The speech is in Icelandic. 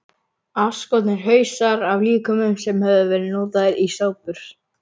Afskornir hausar af líkömum sem höfðu verið notaðir í sápur.